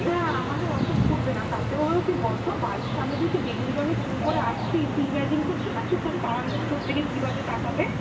না আমাদের অত ফুটবে না তাতেও হলো কি বলতো বাড়ির সামনে দিয়ে কেউ বেগুনি রং এর চুল করে আসছি তুই imagine করতে পারছিস? তোর পাড়ার লোক তোর দিকে কিভাবে তাকাবে ?